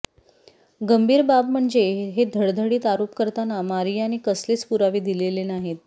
गंभीर बाब म्हणजे हे धडधडीत आरोप करताना मारियाने कसलेच पुरावे दिलेले नाहीत